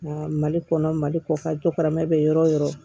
Nka mali kɔnɔ mali kɔ ka jɔ karama bɛ yɔrɔ yɔrɔ